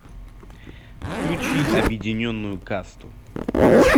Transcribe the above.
включи объединенную касту